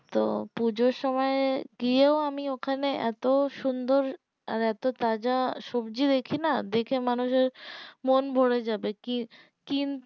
তো পূজোর সময় গিয়েও আমি ওখানে এতো সুন্দর আর এতো তাজা সবজি দেখি না দেখে মানুষের মন ভোরে যাবে কি কিন্